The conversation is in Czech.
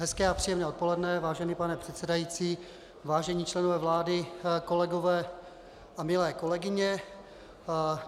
Hezké a příjemné odpoledne, vážený pane předsedající, vážení členové vlády, kolegové a milé kolegyně.